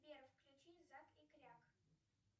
сбер включи зак и кряк